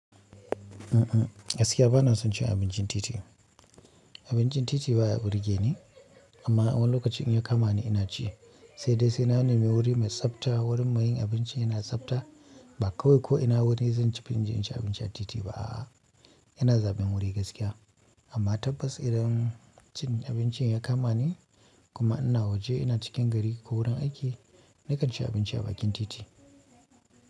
Gaskiya bana son cin abincin titi. Abincin titi baya burgeni amma a wani lokacin in ya kama ni ina ci, sai dai sai na nemi wuri mai tsabta wurin mayin abinci yana tsabta ba kawai ko ina wuri zan ci filin jiya in ci abinci a titi ba a'a. Yana zaben wuri gaskiya amma tabbas idan cin abinci ya kama ni kuma ina waje ina cikin gari ko wurin aiki nakan ci abinci a bakin titi.